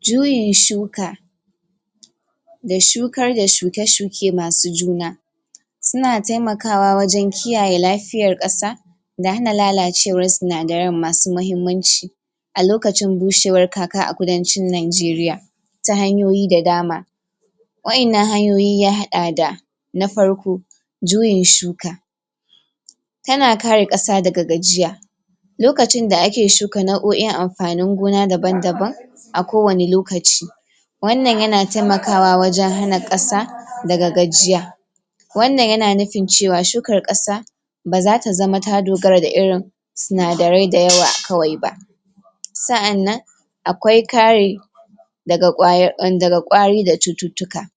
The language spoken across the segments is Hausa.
Juyin shuka da shukar da shuke shuke masu juna suna taimakawa wajen kiyaye lafiyar ƙasa da hana lalacewa sinadaran masu muhimmanci a lokacin bushewan kaka a kudancin Najeriya ta hanyoyi da dama Wa'innan hanyoyi ya haɗa da na farko juyin shuka Tana kare ƙasa daga gajiya lokacin da ake shuka nau'o'in amfani gona daban-daban a ko wani lokaci Wannan yana taimakawa wajen hana ƙasa daga gajiya Wannan yana nufin cewa shukar ƙasa ba za ta zama ta dogara da irin Sinadarai dayawa kawai ba Sa'an nan akwai kare daga ƙwari da cututtuka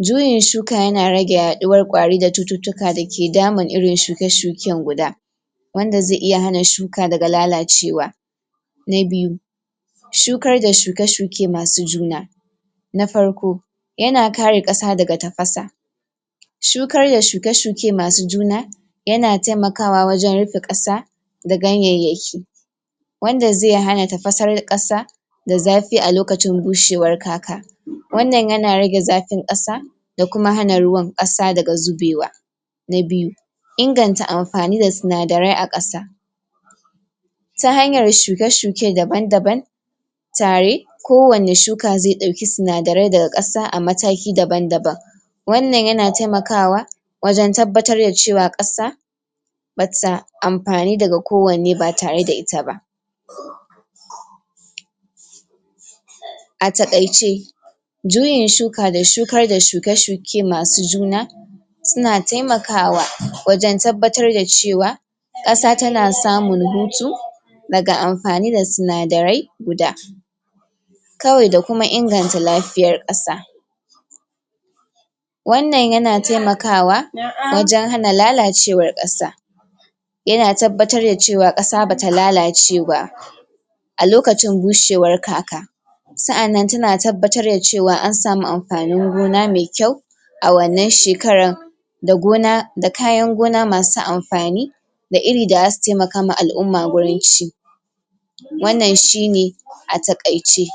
Juyin shuka yana rage yaɗuwar ƙwari da cututtuka dake damun irin shuke shuken guda Wanda zai iya hana shuka daga lalacewa na biyu shukar da shuke shuke masu juna na farko yana kare ƙasa daga tafasa Shukar da shuke shuke masu juna yana taimakawa wajen rufe ƙasa da ganyayyaki Wanda zai hana tafasar ƙasa da zafi a lokacin bushewar kaka Wannan yana rage zafin ƙasa da kuma hana ruwan ƙasa daga zubewa na biyu inganta amfani da sinadarai a ƙasa Ta hanyar shuke shuke daban daban tare ko wani shuka zai ɗauki sinadarai daga ƙasa a mataki daban daban Wannan yana taimakawa wajen tabbatar da cewa ƙasa Bata amfani daga ko wanne ba tare da ita ba a takaice juyin shuka da shukar da shuke shuke masu juna Suna taimakawa wajen tabbatar da cewa ƙasa tana samun hutu Daga amfani da sinadarai guda Kawai da kuma inganta lafiya ƙasa Wannan yana taimakawa wajen hana lalacewar ƙasa Yana tabbatar da cewa ƙasa bata lalace ba a lokacin bushewar kaka Sa'annan tana tabbatar da cewa an samu amfani gona mai kyau A wannan shekara da gona da kayan gona masu amfani Da iri da zasu taimakawa al'umma gurin ci wannan shine a takaice